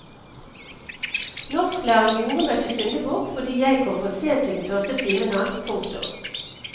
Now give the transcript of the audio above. Norsklæreren gjorde meg til syndebukk fordi jeg kom for sent til den første timen hans. punktum